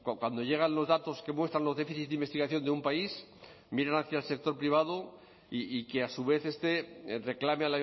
cuando llegan los datos que muestran los déficit de investigación de un país miran hacia el sector privado y que a su vez este reclame